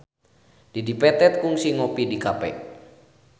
Dedi Petet kungsi ngopi di cafe